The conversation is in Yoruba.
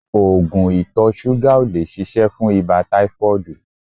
Oògùn ìtọ̀ ṣúgà ò lè ṣiṣẹ́ fún ibà táífọ́ọ̀dù